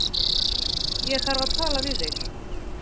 Ég þarf að tala við þig